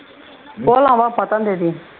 போலாம் வா பத்தாம் தேதி